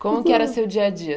Como que era seu dia a dia?